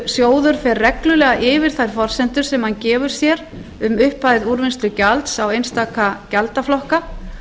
úrvinnslusjóður fer reglulega yfir þær forsendur sem hann gefur sér um upphæð úrvinnslugjalds á einstaka gjaldaflokka